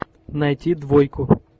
найти двойку